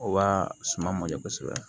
O b'a suma mɔdɛ kosɛbɛ